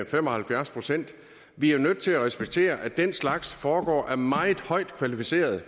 fem og halvfjerds procent vi er nødt til at respektere at den slags foregår via meget højt kvalificerede